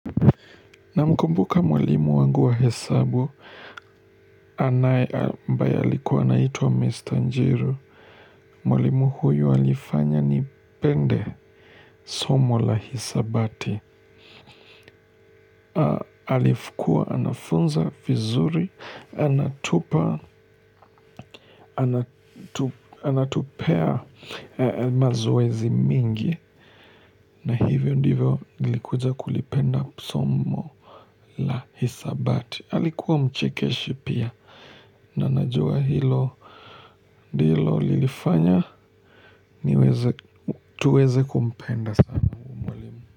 Namkumbuka mwalimu wangu wa hesabu, anaye ambaye alikuwa anaitwa Mr. Njiru, mwalimu huyu alifanya nipende somo la hisabati. Alifukua, anafunza vizuri, anatupa, anatupea mazoezi mingi, na hivyo ndivyo nilikuja kulipenda somo la hisabati. Alikuwa mchekeshi pia na najua hilo hilo lilifanya niweze tuweze kumpenda.